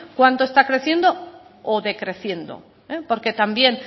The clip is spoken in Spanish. cuánto está creciendo o decreciendo porque también